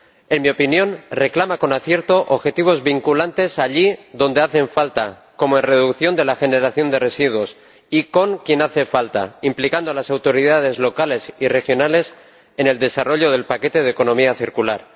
En mi opinión, reclama con acierto objetivos vinculantes allí donde hacen falta, como de reducción de la generación de residuos, y con quien hace falta, implicando a las autoridades locales y regionales en el desarrollo del paquete de economía circular.